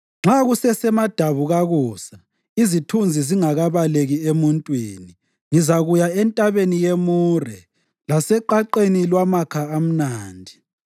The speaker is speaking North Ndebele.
Nxa kusesemadabukakusa izithunzi zingakabaleki emuntwini, ngizakuya entabeni yemure laseqaqeni lwamakha amnandi.